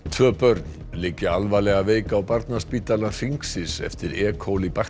tvö börn liggja alvarlega veik á barnaspítala Hringsins eftir e